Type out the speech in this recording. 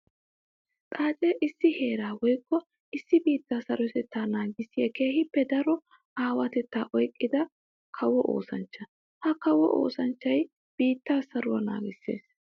Xaace issi heera woykko issi biitta sarotetta naagissiya keehippe daro aawatetta oyqqidda kawo oosanchcha. Ha kawo oosanchchay biitta saruwa naagisees.